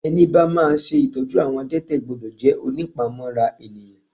Ẹni bá máa ṣe ìtọ́jú àwọn adete gbọ́dọ̀ jẹ́ ònípamọ́ra ènìyàn.